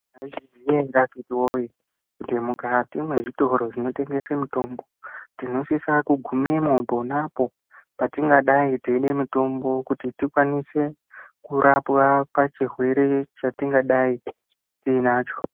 Maizviziya ere akiti woye, kuti mukati mwezvitoro zvinotengese mitombo, tinosisa kugumemo ponapo patingadai teide mitombo, kuti tikwanise kurapwa pachirwere chatingadai tiinacho?